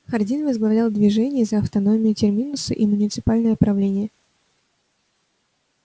хардин возглавлял движение за автономию терминуса и муниципальное правление